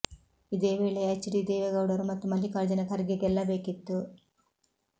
ಇದೇ ವೇಳೆ H D ದೇವೇಗೌಡರು ಮತ್ತು ಮಲ್ಲಿಕಾರ್ಜುನ ಖರ್ಗೆ ಗೆಲ್ಲಬೇಕಿತ್ತು